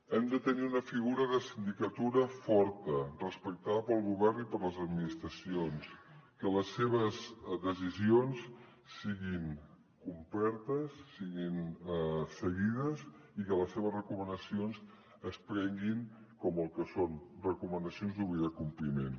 hem de tenir una figura de sindicatura forta respectada pel govern i per les administracions que les seves decisions siguin complertes siguin seguides i que les seves recomanacions es prenguin com el que són recomanacions d’obligat compliment